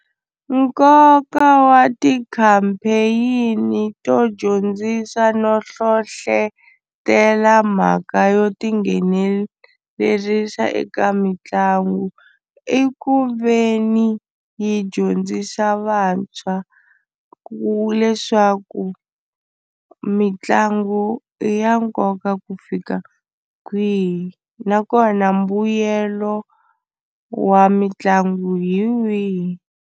Nkoka wa ti-campaign to dyondzisa no hlohlotelo mhaka yo tinghenelerisa eka mitlangu i ku ve ni yi dyondzisa vantshwa ku leswaku mitlangu i ya nkoka ku fika kwihi nakona mbuyelo wa mitlangu hi wihi.